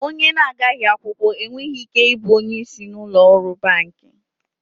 Onye na-agaghi akwụkwọ enweghị ike ị bụ onye isi n'ụlọ ọrụ banki.